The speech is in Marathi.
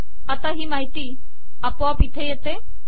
आता ही माहिती आपोआप इथे येते